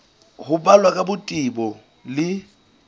ho balwa ka botebo le